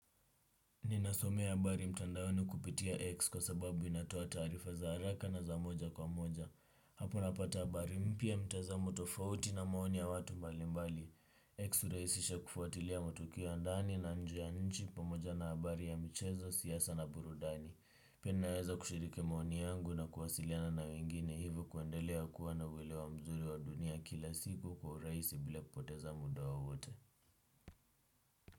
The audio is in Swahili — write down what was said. Ninasomea habari mtandaoni kupitia X kwa sababu inatoa taarifa za haraka na za moja kwa moja. Hapo napata habari mpya mtazamo tofauti na maoni ya watu mbalimbali. X uraisisha kufuatilia matukio ya ndani na nje ya nchi pamoja na habari ya michezo siasa na burudani. Pia naeza kushiriki maoni yangu na kuwasiliana na wengine hivo kuendelea kuwa na uwelewa mzuri wa dunia kila siku kwa uraisi bila kupoteza muda waote.